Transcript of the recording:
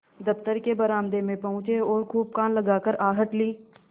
दफ्तर के बरामदे में पहुँचे और खूब कान लगाकर आहट ली